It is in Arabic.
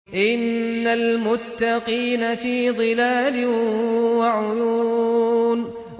إِنَّ الْمُتَّقِينَ فِي ظِلَالٍ وَعُيُونٍ